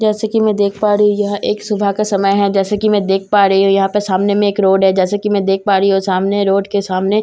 जैसे की मैं देख पा रही हूं यह एक सुबह का समय है जैसे की मैं देख पा रही हूं यहां पे सामने में एक रोड है जैसे की मैं देख पा रही हूं सामने रोड के सामने--